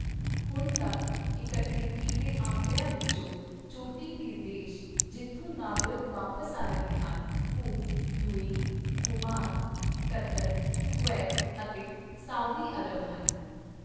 ਹੁਣ ਤੱਕ ਇਕੱਠੇ ਕੀਤੇ ਅੰਕੜਿਆਂ ਵਿੱਚੋਂ, ਚੋਟੀ ਦੇ ਦੇਸ਼ ਜਿੱਥੋਂ ਨਾਗਰਿਕ ਵਾਪਸ ਆ ਰਹੇ ਹਨ ਉਹ ਯੂਏਈ, ਓਮਾਨ, ਕਤਰ, ਕੁਵੈਤ ਅਤੇ ਸਾਊਦੀ ਅਰਬ ਹਨ।